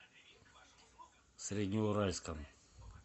среднеуральском